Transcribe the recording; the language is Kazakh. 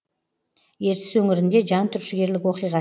ертіс өңірінде жан түршігерлік оқиға